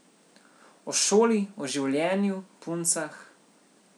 O šoli, o življenju, puncah...